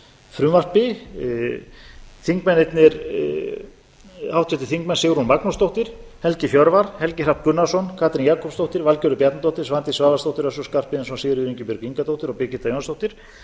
frumvarpi háttvirtir þingmenn sigrún magnúsdóttir helgi hjörvar helgi hrafn gunnarsson katrín jakobsdóttir valgerður bjarnadóttir svandís svavarsdóttir össur skarphéðinsson sigríður ingibjörg ingadóttir og birgitta jónsdóttir